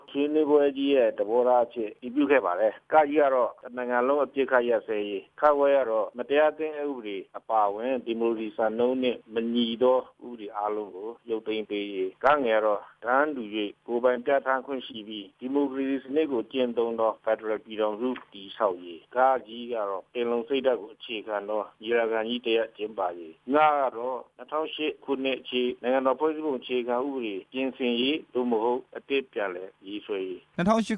ဆွေးနွေးပွဲကနေ သဘောထားကြေညာချက် ချက်ကို ထုတ်ပြန်ခဲ့ပါတယ်။ အဲဒီကြေညာချက်ထဲမှာ တစ်နိုင်ငံလုံးအပစ်အခတ်ရပ်စဲရေး၊ မတရားသင်းအက်ဥပဒေ အပါအဝင် ဒီမိုကရေစီစံနှုန်းနဲ့ မညီတဲ့ ဥပဒေအားလုံးကို ရုပ်သိမ်းပေးရေး၊ တန်းတူပြီးကိုယ်ပိုင်ပြဌာန်းခွင့်ရှိတဲ့ ဒီမိုကရေစီ ဖက်ဒရယ်ပြည်ထောင်စု တည်ဆောက်ရေး၊ ပင်လုံစိတ်ဓာတ်ကိုအခြေခံတဲ့ ညီလာခံကြီး ကျင်းပရေး၊ ၂ဝဝ၈ ဖွဲ့စည်းပုံ အခြေခံဥပဒေ ပြင်ဆင်ရေး အသစ်ပြန်လည်ေရးဆွဲရေး